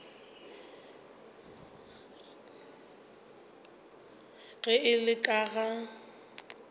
ge e le ka ga